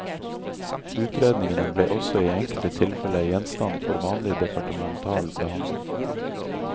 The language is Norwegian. Utredningene ble også i enkelte tilfelle gjenstand for vanlig departemental behandling.